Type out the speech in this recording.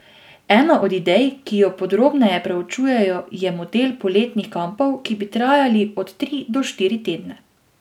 Ena od idej, ki jo podrobneje proučujejo je model poletnih kampov, ki bi trajali od tri do štiri tedne.